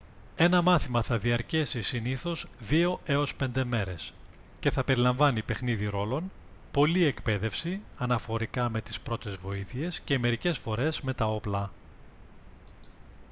ένα μάθημα θα διαρκέσει συνήθως 2-5 μέρες και θα περιλαμβάνει παιχνίδι ρόλων πολλή εκπαίδευση αναφορικά με τις πρώτες βοήθειες και μερικές φορές με τα όπλα